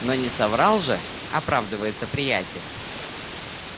но не соврал же оправдывался приятель